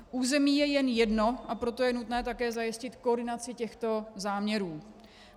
Území je jen jedno, a proto je nutné také zajistit koordinaci těchto záměrů.